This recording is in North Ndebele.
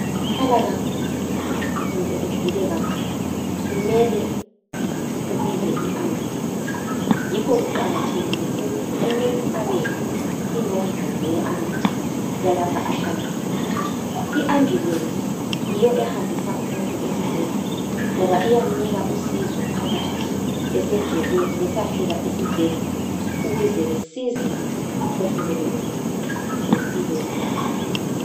Ungalimala kakhulu , kumbe ugule kakhulu, kumele ubize iambulensi, yikho kuqakathekile ukuthi umuntu abeyazi inombolo ye ambulensi yalapho ahlala khona. I ambulensi yiyo ehambisa umuntu esibhedlela, ngoba iyamnika usizo phakathi esendleni besiyafika esibhedlela ukuze basize umphefumulo womuntu, lempilo yomuntu.